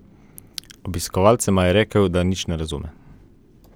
Obiskovalcema je rekel, da nič ne razume.